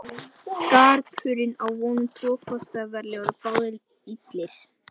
Garpurinn á um tvo kosti að velja og eru báðir illir.